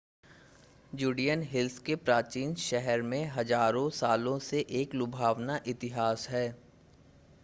Judean Hills के प्राचीन शहर में हज़ारों सालों से एक लुभावना इतिहास है